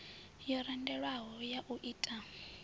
yo randelwaho ya u ta